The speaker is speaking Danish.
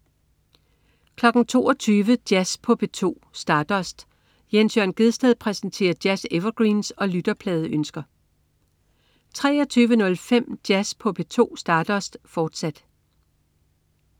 22.00 Jazz på P2. Stardust. Jens Jørn Gjedsted præsenterer jazz-evergreens og lytterpladeønsker 23.05 Jazz på P2. Stardust, fortsat